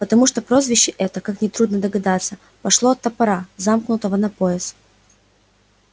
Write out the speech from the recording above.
потому что прозвище это как нетрудно догадаться пошло от топора заткнутого на пояс